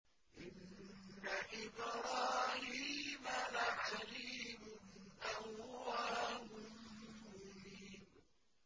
إِنَّ إِبْرَاهِيمَ لَحَلِيمٌ أَوَّاهٌ مُّنِيبٌ